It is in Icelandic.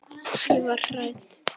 Ég var hrædd.